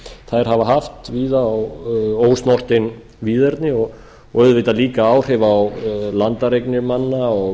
hafa haft víða á ósnortin víðerni og auðvitað líka áhrif á landeignir manna og